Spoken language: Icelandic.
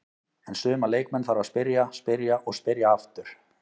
En suma leikmenn þarf að spyrja, spyrja og spyrja aftur.